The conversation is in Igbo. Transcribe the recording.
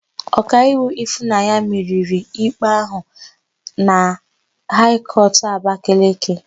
Ọkaiwu Ịfụnanya meriri ikpe áhụ̀ na Haị kọtụ Abakaliki.